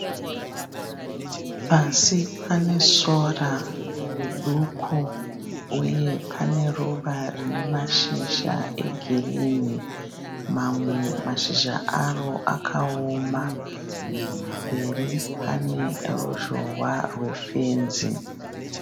Pasi pane sora riduku uye pane ruva rine mashizha egirinhi. Mamwe mashizha aro akaoma. Pamberi pane ruzhowa rwe fenzi.